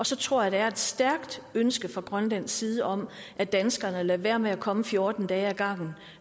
så tror jeg der er et stærkt ønske fra grønlands side om at danskerne lader være med at komme fjorten dage ad gangen